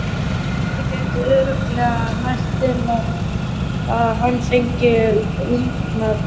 Þessi kuldi gæti örugglega nægt til að hann fengi lungnabólgu.